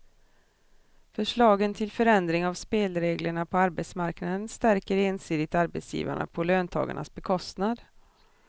Förslagen till förändring av spelreglerna på arbetsmarknaden stärker ensidigt arbetsgivarna på löntagarnas bekostnad.